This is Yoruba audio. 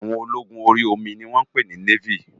Áwòn ólógún óri ómi ni wòn pé ni néfí